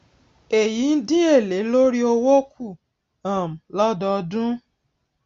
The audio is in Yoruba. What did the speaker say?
èyí n dín èlé lórí owó kù um lódọọdún